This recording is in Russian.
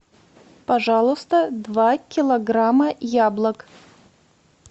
пожалуйста два килограмма яблок